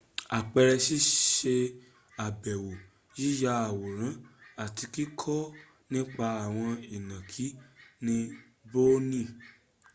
àpẹẹrẹ síṣe àbèwọ yíya awòrán àti kíkọ́ nípa àwọn ìnànkí ní borneo